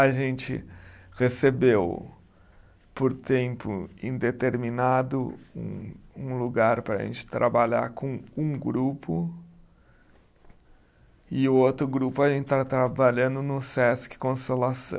A gente recebeu, por tempo indeterminado, um um lugar para a gente trabalhar com um grupo e o outro grupo a gente está trabalhando no Sesc Consolação.